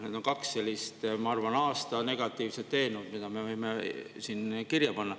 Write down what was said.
Need on kaks sellist, ma arvan, aasta negatiivset eelnõu, mille me võime siin kirja panna.